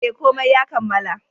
E, komai ya kammala.